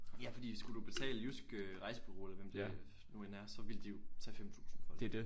Ja fordi skulle du betale Jysk øh Rejsbereau eller hvem det nu end er så ville de jo tage 5000 for det